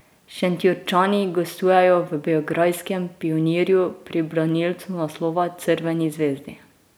Šentjurčani gostujejo v beograjskem Pionirju pri branilcu naslova Crveni zvezdi.